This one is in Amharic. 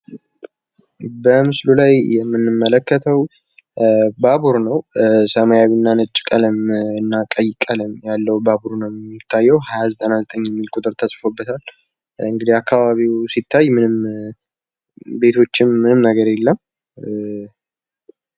በስምሉ ላይ የምንመለከተው ባቡር ነው። ሰማያዊ እና ነጭ ቀለም እና ቀይ ቀለም ያለው ባቡር ነው የሚታየው ፤ 2099 የሚል ቁጥር ተጽፎበታል ፤ እንዲህ አካባቢው ሲታይ ቤቶችም ምንም የለም።